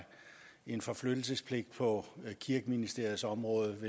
en forflyttelsespligt på kirkeministeriets område